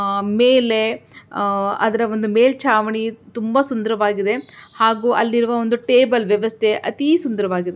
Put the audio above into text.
ಆಮೇಲೆ ಅಹ್ ಅದರ ಒಂದು ಮೇಲ್ಚಾವಣಿ ತುಂಬಾ ಸುಂದರವಾಗಿದೆ ಹಾಗು ಅಲ್ಲಿರುವ ಟೇಬಲ್ ವ್ಯವಸ್ಥೆ ಅತಿ ಸುಂದರವಾಗಿದೆ.